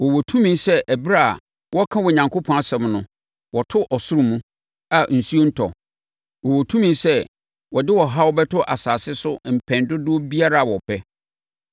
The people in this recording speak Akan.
Wɔwɔ tumi sɛ ɛberɛ a wɔreka Onyankopɔn asɛm no, wɔto soro mu, a osuo rentɔ. Wɔwɔ tumi sɛ wɔde ɔhaw bɛto asase so mpɛn dodoɔ biara a wɔpɛ.